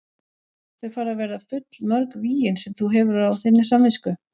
Þau fara að verða full mörg vígin sem þú hefur á þinni samvisku.